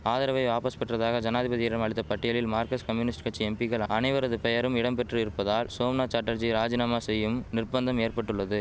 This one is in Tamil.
ஆதரவை வாபஸ் பெற்றதாக ஜனாதிபதியிடம் அளித்த பட்டியலில் மார்கஸ்ட் கம்யூனிஸ்ட் கட்சி எம்பிக்கள் அனைவரது பெயரும் இடம் பெற்று இருப்பதால் சோம்நாத் சாட்டர்ஜி ராஜினாமா செய்யும் நிர்பந்தம் ஏற்பட்டுள்ளது